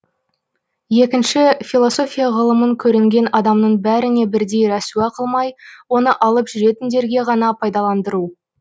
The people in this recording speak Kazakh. екінші философия ғылымын көрінген адамның бәріне бірдей рәсуа қылмай оны алып жүретіндерге ғана пайдаландыру